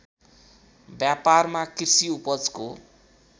व्यापारमा कृषि उपजको